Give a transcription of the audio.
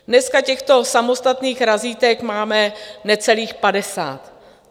Dneska těchto samostatných razítek máme necelých padesát.